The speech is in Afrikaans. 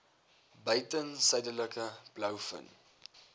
buiten suidelike blouvin